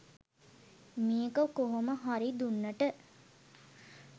මේක කොහොම හරි දුන්නට.